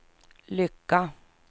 lycka